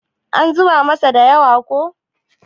an zuba masa da yawa ko?